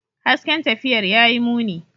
Hasken tafiyar ya yi muni.